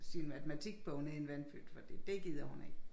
Sin matematikbog ned i en vandpyt fordi dét gider hun ikke